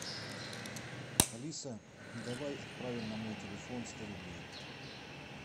алиса давай отправим на мой телефон сто рублей